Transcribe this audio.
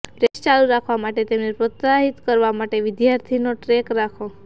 practice ચાલુ રાખવા માટે તેમને પ્રોત્સાહિત કરવા માટે વિદ્યાર્થીનો ટ્રૅક રાખો